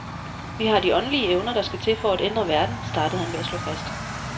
Vi har de åndelige evner, der skal til for at ændre verden, startede han med at slå fast.